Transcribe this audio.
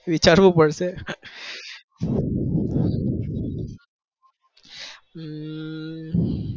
વિચારવું પડશે હમ